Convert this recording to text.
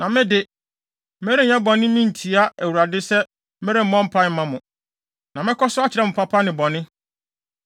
Na me de, merenyɛ bɔne ntia Awurade sɛ meremmɔ mpae mma mo. Na mɛkɔ so akyerɛ mo papa ne bɔne.